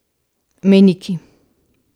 Mejniki.